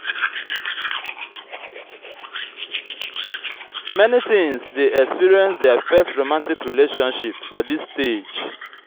many teens de experience their first romantic relationship for dis stage